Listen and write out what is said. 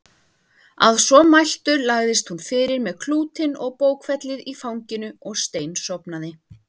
Að svo mæltu lagðist hún fyrir með klútinn og bókfellið í fanginu og steinsofnaði.